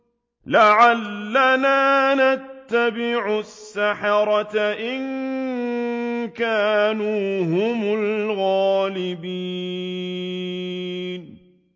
لَعَلَّنَا نَتَّبِعُ السَّحَرَةَ إِن كَانُوا هُمُ الْغَالِبِينَ